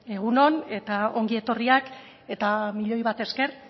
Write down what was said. egun on eta ongi etorriak eta milioi bat esker